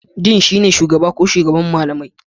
Dean shine shugaba ko shugaban malamai.